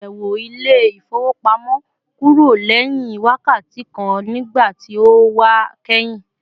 Oluyẹwo ile-ifowopamọ kúrò lẹ́hìn wákàtí kan nígbàtí ó wa kẹhin